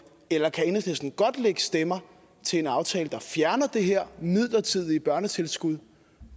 eller kan enhedslisten godt lægge stemmer til en aftale der fjerner det her midlertidige børnetilskud